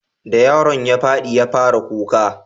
da yaron ya fadi ya fara kuka